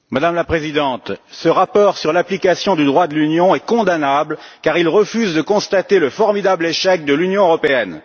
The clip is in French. Madame la Présidente, ce rapport sur l'application du droit de l'Union est condamnable car il refuse de constater le formidable échec de l'Union européenne.